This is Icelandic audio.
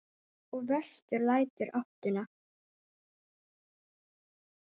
Og vestur lætur ÁTTUNA.